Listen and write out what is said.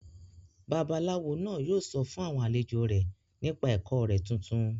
Babaláwo náà yóò sọ fún àwọn àlejò rẹ̀ nípa ẹ̀kọ́ rẹ̀ tuntun